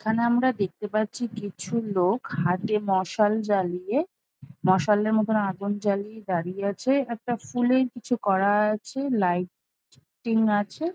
এখানে আমরা দেখতে পাচ্ছি কিছু লোক হাতে মশাল জ্বালিয়ে মশালের মতোন আগুন জ্বালিয়ে দাঁড়িয়ে আছে একটা ফুলের কিছু করা আছে লাইট টিং আছে।